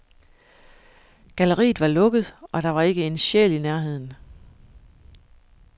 Galleriet var lukket, og der var ikke en sjæl i nærheden.